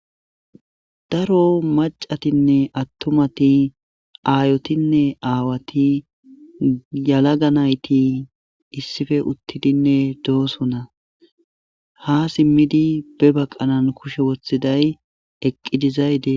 Daro macatinne attumati aayotinne aawati yalagga nayti issife uttidinne doosona ha siimidi be baqanan kushe woththiday eqqi dizayti